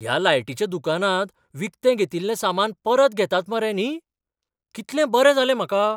ह्या लायटिच्या दुकानांत विकतें घेतिल्लें सामान परत घेतात मरे न्ही? कितलें बरें जालें म्हाका.